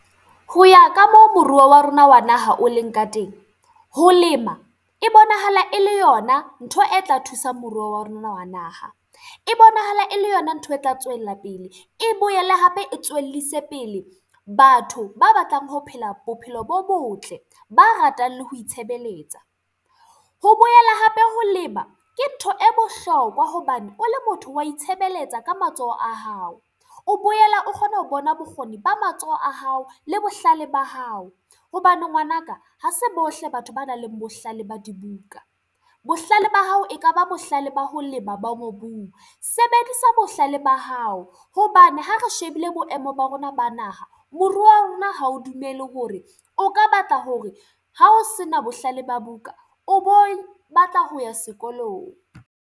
Ho ya ka moo moruo wa rona wa naha o leng ka teng, ho lema e bonahala e le yona ntho e tla thusang moruo wa rona wa naha. E bonahala e le yona ntho e tla tswela pele. E boele hape e tswellise pele batho ba batlang ho phela bophelo bo botle, ba ratang le ho itshebeletsa. Ho boela hape ho lema ke ntho e bohlokwa hobane o le motho wa itshebeletsa ka matsoho a hao. O boela o kgona ho bona bokgoni ba matsoho a hao le bohlale ba hao. Hobane ngwana ka ha se bohle batho ba nang le bohlale ba dibuka. Bohlale ba hao ekaba bohlale ba ho lema ba mobung. Sebedisa bohlale ba hao, hobane ha re shebile boemo ba rona ba naha. Moruo wa rona ha o dumele hore o ka batla hore ha o se na bohlale ba buka, o bo batla ho ya sekolong.